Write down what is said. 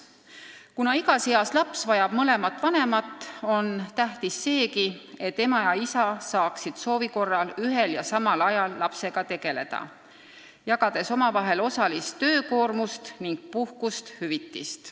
Kuna igas eas laps vajab mõlemat vanemat, on tähtis seegi, et ema ja isa saaksid soovi korral ühel ja samal ajal lapsega tegeleda, jagades omavahel osalist töökoormust ning puhkust-hüvitist.